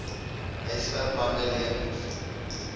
huisver bande lenings